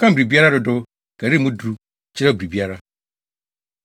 Wɔkan biribiara dodow, karii mu duru, kyerɛw biribiara.